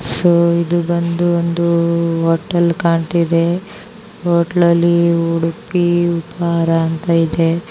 So ಇದು ಬಾಂಬಿಟ್ಟು hotel ಕಾನ್ತಾಯಿದೆ ಹೋಟಲ್ ಉಡುಪಿ ಉಪಹಾರ ಅಂತ ಇದೆ.